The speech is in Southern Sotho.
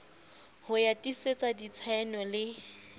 ya ho tiisetsa ditshaeno le